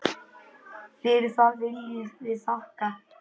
Fyrir það viljum við þakka.